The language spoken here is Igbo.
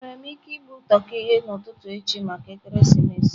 Enwere m ike igbu toki n'ụtụtụ echi maka ekeresimesi?